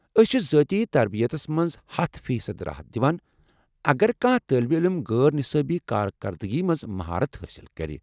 أسۍ چھِ ذٲتی تربیتس منٛز ہَتھ فی صد راحت دِوان اگر کانٛہہ طٲلب علم غٲر نِصٲبی كاركردگی منز مہارت حٲصِل کرِ